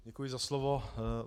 Děkuji za slovo.